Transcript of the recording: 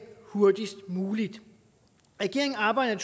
hurtigst muligt regeringen arbejder